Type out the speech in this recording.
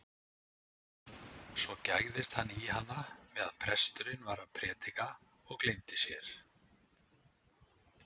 Svo gægðist hann í hana meðan presturinn var að prédika og gleymdi sér.